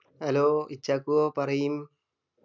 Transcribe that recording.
hello ഇച്‌ഛാക്കൂ പറയ്